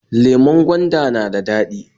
Lemon gwanda na da dadi